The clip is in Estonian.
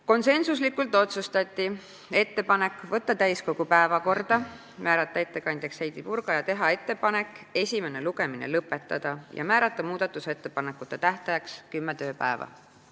Konsensuslikult otsustati teha ettepanek võtta eelnõu täiskogu päevakorda, määrata ettekandjaks Heidy Purga, esimene lugemine lõpetada ja anda muudatusettepanekute tähtajaks kümme tööpäeva.